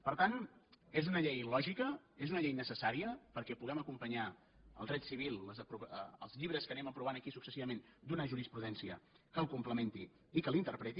per tant és una llei lògica és una llei necessària perquè puguem acompanyar el dret civil els llibres que anem aprovant aquí successivament d’una jurisprudència que el complementi i que l’interpreti